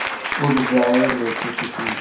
उड़ जाएं लेके ख़ुशी